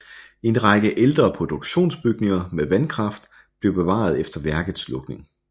En række ældre produktionsbygninger med vandkraft blev bevaret efter værkets lukning